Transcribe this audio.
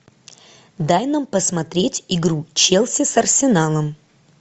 дай нам посмотреть игру челси с арсеналом